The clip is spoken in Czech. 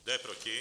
Kdo je proti?